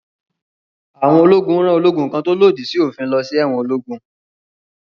Àwọn ológun rán ológun kan tó lòdì sí òfin lọ sí ẹ̀wọn ológún.